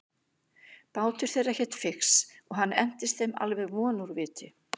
Bátur þeirra hét Fix og hann entist þeim alveg von úr viti.